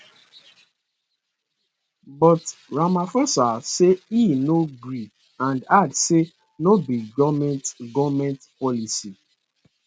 but ramaphosa say e no gree and add say no be goment goment policy